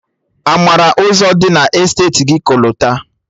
A mara Ụzọ dị na Esteti gị kolta?